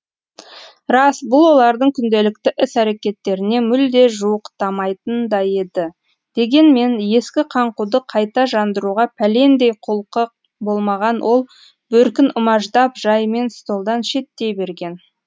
рас бұл олардың күнделікті іс әрекеттеріне мүлде жуықтамайтын да еді дегенмен ескі қаңқуды қайта жандыруға пәлендей құлқы болмаған ол бөркін умаждап жайымен столдан шеттей берген